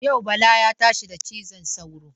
Yau Bala ya tashi da cizon sauro.